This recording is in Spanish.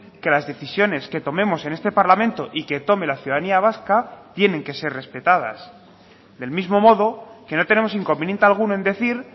que las decisiones que tomemos en este parlamento y que tome la ciudadanía vasca tienen que ser respetadas del mismo modo que no tenemos inconveniente alguno en decir